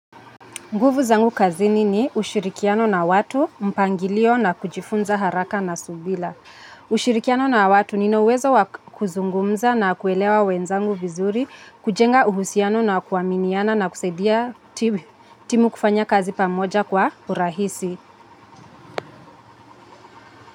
Nguvu zangu kazini ni ushirikiano na watu, mpangilio na kujifunza haraka na subira. Ushirikiano na watu nina uwezo kuzungumza na kuelewa wenzangu vizuri, kujenga uhusiano na kuaminiana na kusaidia timu kufanya kazi pamoja kwa urahisi.